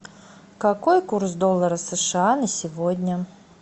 какой курс доллара сша на сегодня